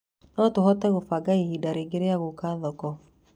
No tũhote kũbanga ihinda rĩngĩ rĩa gũũka thoko